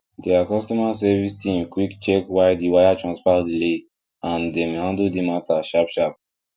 their customer service team quick check why the wire transfer delay and dem handle the matter sharp sharp